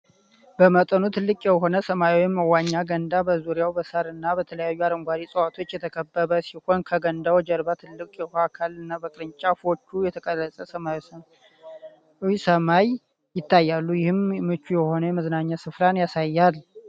በመጠኑ ትልቅ የሆነ ሰማያዊ የመዋኛ ገንዳ በዙሪያው በሣርና በተለያዩ አረንጓዴ ዕፅዋት የተከበበ ሲሆን፣ ከገንዳው ጀርባ ትልቅ የውሃ አካልና በቅርንጫፎች የተቀረጸ ሰማያዊ ሰማይ ይታያሉ፤ ይህም ምቹ የሆነ የመዝናኛ ስፍራን ያሳያል።